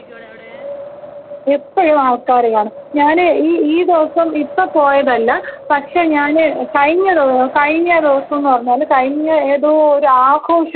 എപ്പഴും ആൾക്കാര് കാണും ഞാനീ ഈ ഈ ദിവസം ഇപ്പോ പോയതല്ല പക്ഷേ ഞാന് കഴിഞ്ഞ ദി കഴിഞ്ഞ ദിവസംന്ന് പറഞ്ഞാല് കഴിഞ്ഞ ഏതോ ഒരു ആഘോഷം ഇപ്പോൾ നടന്നിരുന്നല്ലോ.